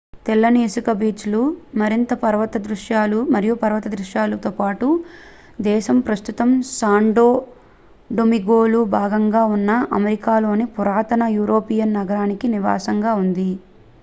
తెల్లని ఇసుక బీచ్ లు మరియు పర్వత దృశ్యాలతో పాటు దేశం ప్రస్తుతం శాన్టో డొమింగోలో భాగంగా ఉన్న అమెరికాలో పురాతన యూరోపియన్ నగరానికి నివాసంగా ఉంది